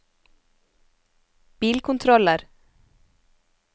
bilkontroller